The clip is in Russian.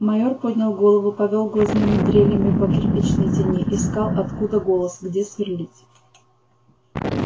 майор поднял голову повёл глазными дрелями по кирпичной тени искал откуда голос где сверлить